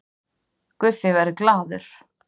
Guffi verður glaður